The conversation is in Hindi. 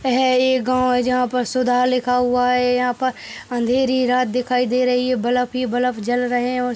है। ये गाँव जहाँ पर सुधा लिखा हुआ है। यहाँ पर अँधेरी रात दिखाई दे रही है बलब ही बलब जल रहे हैं और --